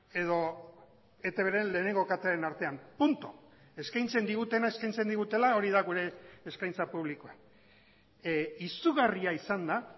edo etbren lehenengo katearen artean puntu eskaintzen digutena eskaintzen digutela hori da gure eskaintza publikoa izugarria izan da